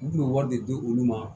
U tun bɛ wari de di olu ma